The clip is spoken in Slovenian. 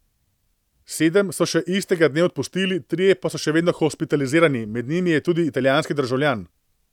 Sedem so še istega dne odpustili, trije pa so še vedno hospitalizirani, med njimi je tudi italijanski državljan.